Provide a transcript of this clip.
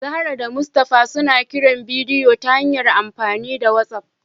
Zahra da Mustafa suna kiran bidiyo ta hanyar amfani da whatsapp